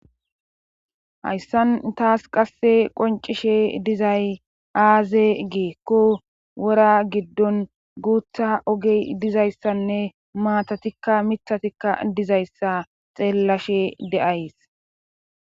hayssan taas qasse qoncishe dizay aaze geekko wora giddon guutha ogey dizayssanne maatatikka mithatikka dizayssa xeellashe de7ays